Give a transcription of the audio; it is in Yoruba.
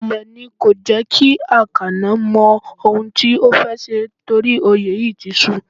Imúlẹ̀ ni kò jẹ́ kí Akano mọ ohun tí ó fẹ́ ṣe nítorí òye yìí ti su.